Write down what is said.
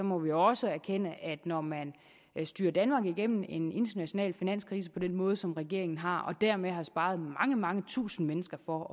må vi jo også erkende at når man har styret danmark igennem en international finanskrise på den måde som regeringen har og dermed har sparet mange tusinde mennesker for